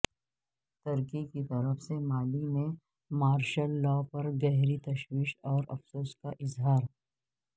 ترکی کی طرف سے مالی میں مارشل لاء پر گہری تشویش اور افسوس کا اظہار